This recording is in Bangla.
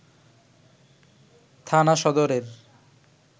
থানা সদরের